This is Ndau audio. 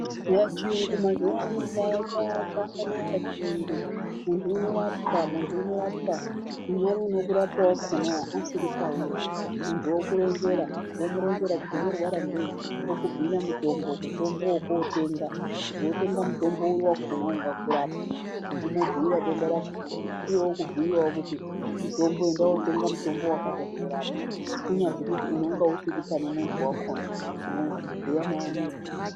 Eya, chiyungu mazuwaano chakanaka chiyungu ,munhu unorapwa ,munhu unorapwa, unhani unode kurapwa wakona wo asiri pauri munhu wokuronzera, womuronzera kuti unorwara ngei ,okubhuyira mutombo, mutombo wokotenga kuti wotenga mutombo uri wakona ungakurapa womubhuyira denda rakona iye wokubhuyirawo kuti mutombo enda wotenga mutombo wakadai worapwa, kunyazi kuti unonga usiri panemunhu wakona unobhuya naye muntu.